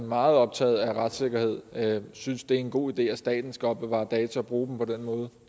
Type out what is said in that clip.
meget optaget af retssikkerhed synes det er en god idé at staten skal opbevare data og bruge dem på den måde